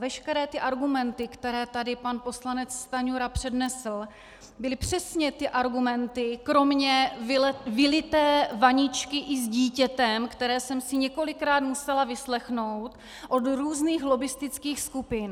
Veškeré ty argumenty, které tady pan poslanec Stanjura přednesl, byly přesně ty argumenty, kromě vylité vaničky i s dítětem, které jsem si několikrát musela vyslechnout od různých lobbistických skupin.